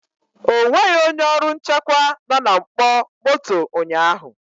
O nweghị onye ọrụ nchekwa nọ na mkpọ moto ụnyahụ